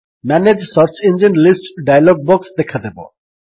manage search engine list dialog box ଦେଖାଦେବ